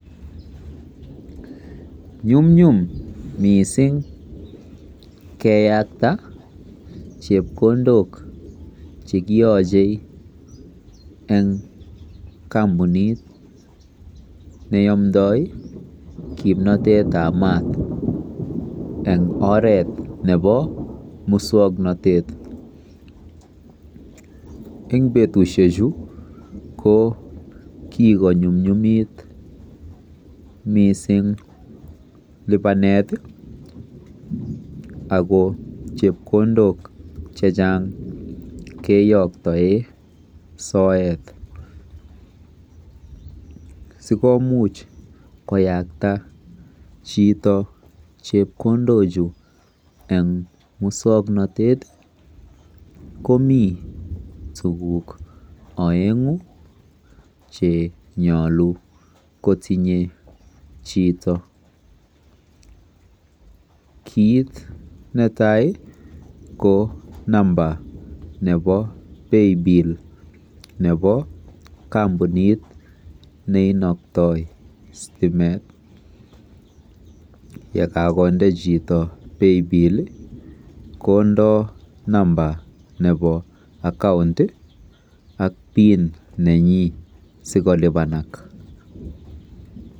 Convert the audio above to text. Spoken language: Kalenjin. Nyumnyum mising keyakta chepkondok eng kampunit neyomdoi kimnotetab maat eng oret nebo muswoknotet. Eng betusiechu ko kikonyumnyumit miising lipanet ako chepkondok chechang keyoktoe soet. Sikomuch koyakta chito chepkondochu eng muswoknotet komi tuguk oeng'u chenyolu kotinye chito. KIit netai ko namba nebo Paybill nebo kampunit neinoktoi stimet. Yekakonde chito Paybill kondoi namba nenyi nebo akaunt ak pin sikolipanak